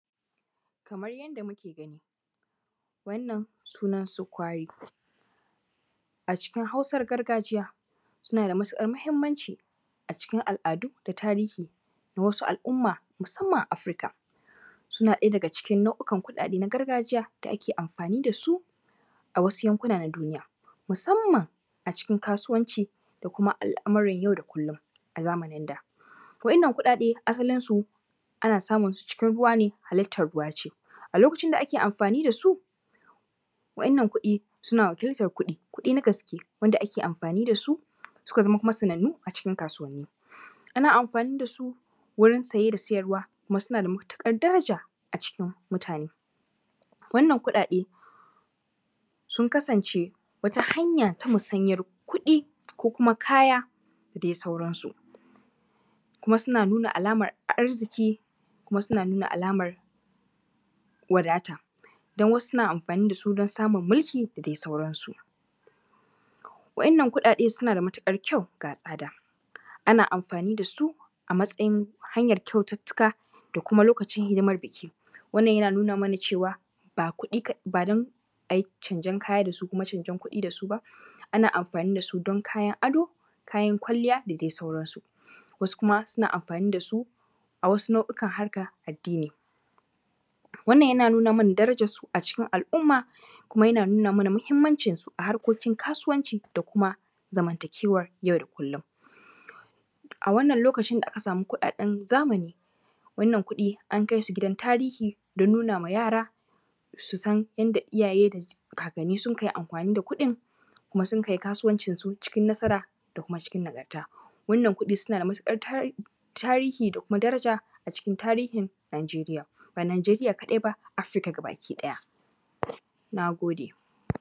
Kamar yadda muke gani, wannan sunansu Kwayo. A cikin Hausar gargajiya suna da matuƙar muhimmanci a cikin al’adu da tarihi da wasu al’umma musamman a Africa. Suna ɗaya daga cikin nau’ukan kuɗaɗe na gargajiya da ake amfani da su a wasu yankuna na duniya, musamman a cikin kasuwanci da kuma al’amuran yau da kullum a zamanin da. Waɗannan kuɗaɗe asalinsu ana samun su cikin ruwa ne, halittar ruwa ce. A lokacin da ake amfani da su, waɗannan kuɗi suna wakiltar kuɗi, kuɗi na gaske wanda ake amfani da su suka kuma zama sanannu cikin kasuwanni. Ana amfani da su wajen saye da sayarwa kuma suna da matuƙar daraja a cikin mutane. Wannan kuɗaɗe, sun kasance wata hanya ta musanyar kuɗi ko kuma kaya da dai sauransu kuma suna nuna alamar arziki kuma suna nuna alamar wadata, don wasu suna amfani da su don samun mulki da dai sauransu. waɗannan kuɗaɗe suna da matuƙar kyau, ga tsada. Ana amfani da su a matsayin hanyar kyaututtuka da kuma lokacin hidimar buki. Wannan yana nuna mana cewa, ba kuɗi kaɗai… ba don a yi canjen kaya da su kuma canjen kuɗi da su ba, ana amfani da su don kayan ado, kayan kwalliya da dai sauransu. Wasu kuma suna amfani da su a wasu nau’ukan harkar addini. Wannan yana nuna mana darajarsu a cikin al’umma kuma yana nauna mana muhimmancinsu a harkokin kasuwanci da kuma zamantakewar yau da kullum. A wannan lokacin da aka samu kuɗaɗen zamani, wannan kuɗi, an kai su gidan tarihi don nuna ma yara su san yadda iyaye da kakanni sunka yi amfani da kuɗin kuma sunka yi kasuwancinsu cikin nasara da kuma cikin nagarta. Wannan kuɗi suna da matuƙar tarihi da kuma daraja a cikin tarihin Nigeria. Ba Nigeria kaɗai ba, africa gabaki ɗaya. Na gode.